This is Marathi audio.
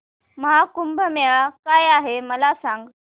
महा कुंभ मेळा काय आहे मला सांग